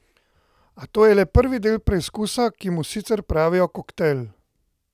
A to je le prvi del preizkusa, ki mu sicer pravijo Koktejl.